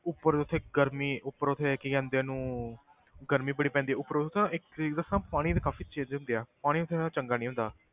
ਉੱਪਰ ਉੱਥੇ ਗਰਮੀ ਉੱਪਰ ਉੱਥੇ ਕੀ ਕਹਿੰਦੇ ਆ ਉਹਨੂੰ ਗਰਮੀ ਬੜੀ ਪੈਂਦੀ ਆ ਉੱਪਰ ਉੱਥੇ ਨਾ ਇੱਕ ਚੀਜ਼ ਦੱਸਾਂ ਪਾਣੀ ਵੀ ਕਾਫ਼ੀ ਚਿਰ ਦਾ ਪਿਆ, ਪਾਣੀ ਉੱਥੇ ਦਾ ਚੰਗਾ ਨੀ ਹੁੰਦਾ।